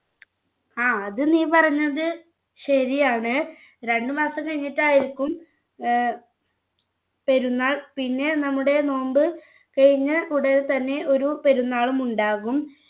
ആ അത് നീ പറഞ്ഞത് ശരിയാണ് രണ്ടുമാസം കഴിഞ്ഞിട്ടായിരിക്കും ഏർ പെരുന്നാൾ പിന്നെ നമ്മുടെ നോമ്പ് കഴിഞ്ഞ് മുതൽ തന്നെ ഒരു പെരുന്നാളും ഉണ്ടാകും